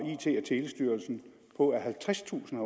telestyrelsen på at halvtredstusind